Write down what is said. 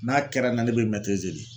N'a kɛra n na ne be de.